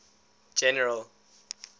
general